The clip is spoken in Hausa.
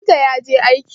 Likita ya je aiki.